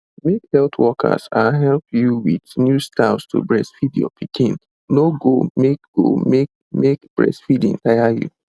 make health workers ah help you with new styles to breastfeed your pikin no go make go make make breastfeeding tire you